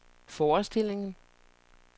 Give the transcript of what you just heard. forestillingen